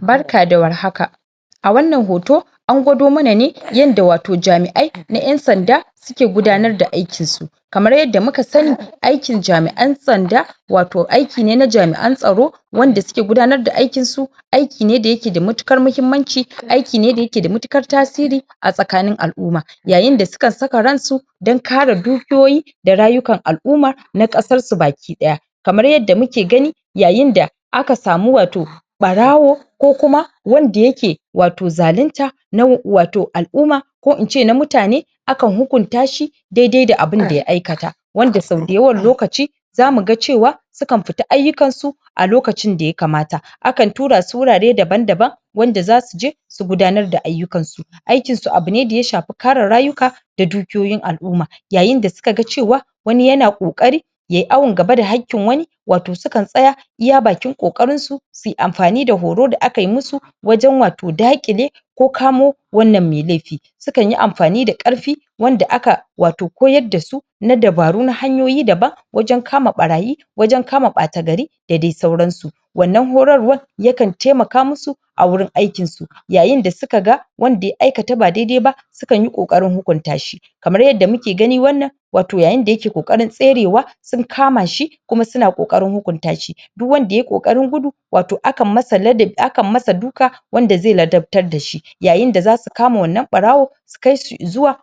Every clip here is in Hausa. barka da warhaka a wannan hoto angwado mana ne wanda wato hoto na ƴan'sanda suke gudanar da aikinsu kamar yanda muka sani aikin jami'an ƴan sanda wato aiki ne na jami'an tsaro wanda suke gudanar da aikinsu aiki ne da yake da mutuƙar mahimmanci aiki ne da yake da mutuƙar tasiri a tsakanin al'uma yayin da sukan saka ransu dan kare dukiyoyin da rayukan al'umma na ƙasarsu baki ɗaya kamar yanda muke gani yayin da aka samu wato ɓarawo ko kuma wanda yake wato zalinta na wato al'umma ko ince na mutane akan hukuntashi daidai da abunda ya aikata wanda sau da yawan lokaci zamu ga cewa sukan fita aiyukansu a lokacin da ya kamata akan turasu wurare daban daban wanda zasu je su gudanar da aiyukansau aikisu abune da ya shafe kare rayuka da dukiyoyin al'umma yayin da suka ga cewa wani yana ƙoƙarin yayi awan gaba da hakkin wani sukan tsaya iya bakin ƙoƙarinsu suyi amfani da horo da akai musu wajan wato daƙile ko kamo wannan me laifi sukanyi amfani da ƙarfe wanda aka wato koyar dasu na dabaru na hanyoyi daban wajan kama ɓaraye wajan kama ɓata gari da dai sauransu wannan horarwar yakan taimaka musu a wurin aikinsu yayin da suka ga wanda ya aikata ba daidai ba sukanyi ƙoƙarin hukuntashi kamar yanda muke gani wannan yayin da yake ƙoƙarin tserewa sun kamashi kuma suna ƙoƙarin hukuntashi duk wanda yayi ƙoƙarin gudu wato akan masa duka wanda zai ladaffar dashi yayin da zasu kama wannan ɓarawan su kaishi izuwa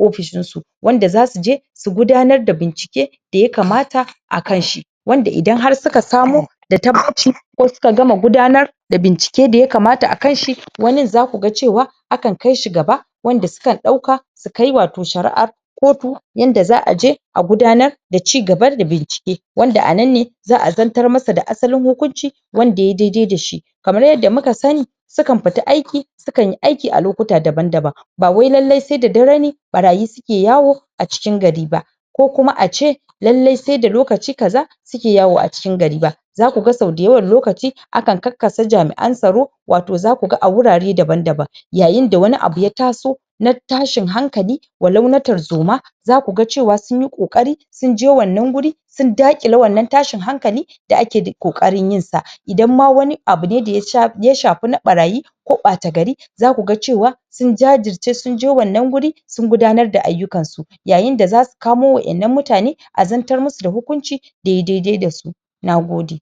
ofishinsu wanda zasu je su gudanar da bincike da ya kamata a kanshi wanda idan har suka samu da tabbaci ko suka gama gudanar da bincike da bincike da ya kamata akanshi wanin zaku ga cewa akan kaishi gaba wanda sukan ɗauka sukai wato shari'ar kotu yanda za aje a gudanar da cigaba da bincike wanda anan ne za a zartar masa da asalin hukunci wanda yayi daidai dashi kamar yanda muka sani sukan fita aiki sukanyi aiki a lokuta daban daban ba wai lallai sai da dare ne ɓaraye suke yawo a cikin gari ba ko kuma ace lallai sai da lokaci kaza suke yawo a cikin gari ba zaku ga sau da yawan lokaci akan kakkasa jami'an tsaro wato zaku ga a wurare daban daban yayin da wani abu ya taso na tashin hankali walau na tarzoma zaku ga cewa sunyi ƙoƙari sunje wannan guri sun dakile wannan tashin hankali da ake ƙoƙarin yinsa idan ma wani abu ne daya shafe na ɓaraye ko ɓata gari zaku ga cewa sun jajirce sunje wannan guri sun gudanar da aiyukansu yayin da zasu kamo wa innan mutane a zartar musu da hukunci wanda yayi daidai dasu nagode